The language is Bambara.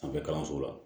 Sanfɛ kalanso la